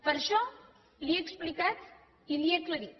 per això li ho he explicat i li ho he aclarit